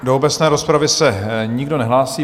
Do obecné rozpravy se nikdo nehlásí.